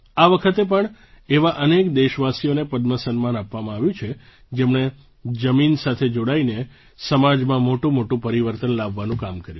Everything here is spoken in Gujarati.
આ વખતે પણ એવા અનેક દેશવાસીઓને પદ્મ સન્માન આપવામાં આવ્યું છે જેમણે જમીન સાથે જોડાઈને સમાજમાં મોટુંમોટું પરિવર્તન લાવવાનું કામ કર્યું